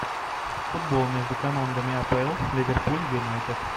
футбол между командами апл ливерпуль юнайтед